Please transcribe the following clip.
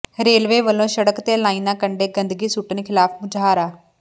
railway ਵੱਲੋਂ ਸੜਕ ਤੇ ਲਾਈਨਾਂ ਕੰਢੇ ਗੰਦਗੀ ਸੁੱਟਣ ਖ਼ਿਲਾਫ਼ ਮੁਜ਼ਾਹਰਾ